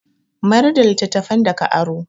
Mayar da littattafan da ka aro.